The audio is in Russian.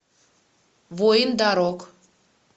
воин дорог